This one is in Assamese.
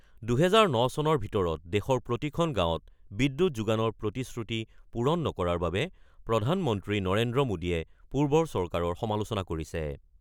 ২০০৯ চনৰ ভিতৰত দেশৰ প্ৰতিখন গাঁৱত বিদ্যুৎ যোগানৰ প্ৰতিশ্ৰুতি পূৰণ নকৰাৰ বাবে প্ৰধানমন্ত্ৰী নৰেন্দ্ৰ মোদীয়ে পূৰ্বৰ চৰকাৰৰ সমালোচনা কৰিছে।